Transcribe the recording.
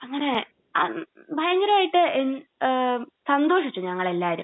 അങ്ങനെ എഹ് ഭയങ്കരായിട്ട് ഏഹ് സന്തോഷിച്ചു ഞങ്ങൾ എല്ലാവരും.